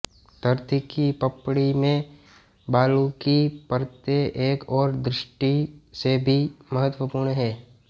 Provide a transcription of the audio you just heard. धरती की पपड़ी में बालू की परतें एक और दृष्टि से भी महत्वपूर्ण है